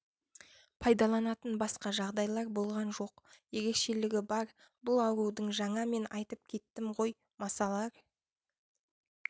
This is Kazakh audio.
пайдаланатын басқа жағдайлар болған жоқ ерекшелігі бар бұл аурудың жаңа мен айтып кеттім ғой масалар